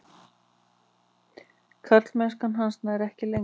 Karlmennska hans nær ekki lengra.